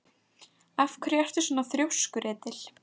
Af hverju ertu svona þrjóskur, Edil?